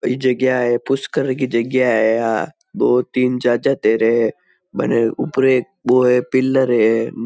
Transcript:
एक जगहा है पुष्कर की जगहा है आ दो तीन चार चाचा तैरे है ऊपर एक बो पिलर है।